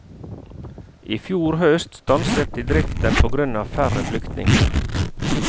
I fjor høst stanset de driften på grunn av færre flyktninger.